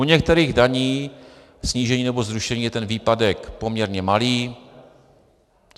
U některých daní, snížení nebo zrušení je ten výpadek poměrně malý.